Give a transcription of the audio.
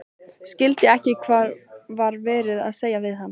Skildi ekki hvað var verið að segja við hann.